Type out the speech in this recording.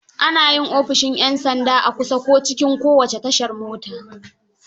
Ana yi ofishin 'yan sanda a kusa, ko cikin kowace tashar mota.